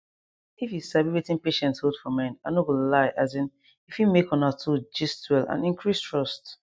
if you sabi wetin patients hold for mind i no go lie asin e fit make una two gist well and increase trust